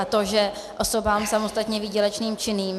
A to, že osobám samostatně výdělečně činným -